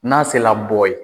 N'a sela bɔ ye